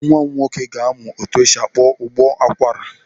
Nwa m nwoke ga-amụ etu esi akpọ ụbọ akwara.